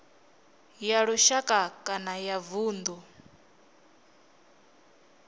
ya lushaka kana ya vundu